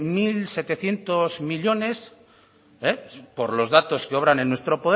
mil setecientos millónes por los datos que obran en nuestro